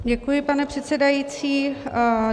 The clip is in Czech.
Děkuji, pane předsedající.